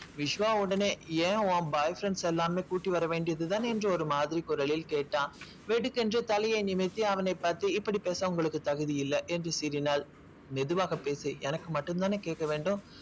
விஷ்வா உடனே ஏன் உன் boy friends எல்லாருமே கூட்டிட்டு வரவேண்டியது தானே ஒரு மாதிரி குரலில் கேட்டான். வெடுக்கென்று தலையே நிமிர்த்தி அவனை பத்தி இப்படி பேச உங்களுக்கு தகுதி இல்ல என்று சீறினாள் மெதுவாக பேசு எனக்கு மட்டும் தான கேட்கவேண்டும்.